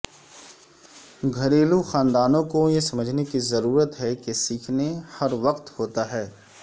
گھریلو گھریلو خاندانوں کو یہ سمجھنے کی ضرورت ہے کہ سیکھنے ہر وقت ہوتا ہے